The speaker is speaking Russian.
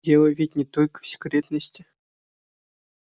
дело ведь не только в секретности